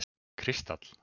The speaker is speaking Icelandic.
Kristall